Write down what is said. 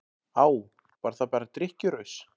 Á, var það bara drykkjuraus?